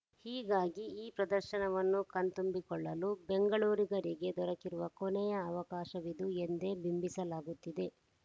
ಹೀಗಾಗಿ ಈ ಪ್ರದರ್ಶನವನ್ನು ಕಣ್ತುಂಬಿಕೊಳ್ಳಲು ಬೆಂಗಳೂರಿಗರಿಗೆ ದೊರಕಿರುವ ಕೊನೆಯ ಅವಕಾಶವಿದು ಎಂದೇ ಬಿಂಬಿಸಲಾಗುತ್ತಿದೆ